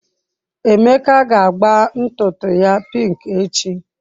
Emeka ga agba ntutu ya pink echi.